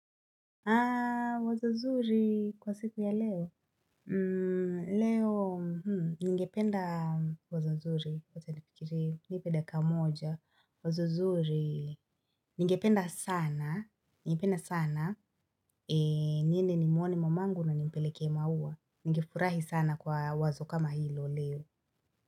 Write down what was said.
Wazo zuri kwa siku ya leo? Leo, ningependa wazo zuri, wacha nifikirie, nipe dakika moja, wazo zuri, ningependa sana, ningependa sana, niende ni mwone mamangu na nimpeleke maua, ningefurahi sana kwa wazo kama hilo leo.